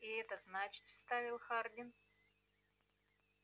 и это значит вставил хардин